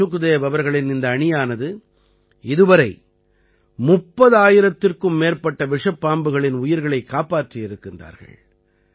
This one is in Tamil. சுக்தேவ் அவர்களின் இந்த அணியானது இதுவரை 30000த்திற்கும் மேற்பட்ட விஷப்பாம்புகளின் உயிர்களைக் காப்பாற்றி இருக்கின்றார்கள்